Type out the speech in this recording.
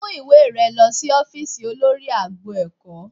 Mú ìwé rẹ lọ sí ófíìsì olórí agbo ẹ̀kọ́